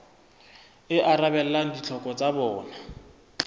e arabelang ditlhoko tsa bona